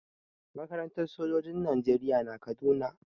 Makarantar sojoji na najeriya na kaduna